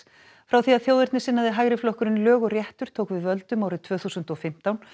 frá því að hægri flokkurinn lög réttur tók við völdum árið tvö þúsund og fimmtán